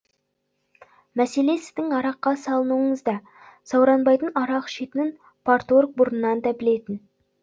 мәселе сіздің араққа салынуыңызда сауранбайдың арақ ішетінін парторг бұрыннан да білетін